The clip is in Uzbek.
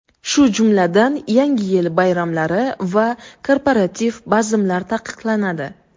shu jumladan Yangi yil bayramlari va korporativ bazmlar taqiqlanadi.